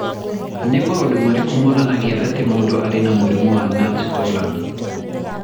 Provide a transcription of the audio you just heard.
Nĩ maũndũ marĩkũ monanagia atĩ mũndũ arĩ na mũrimũ wa Nance Horan?